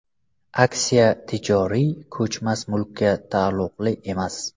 Aksiya tijoriy ko‘chmas mulkka taalluqli emas.